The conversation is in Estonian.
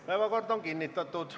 Päevakord on kinnitatud.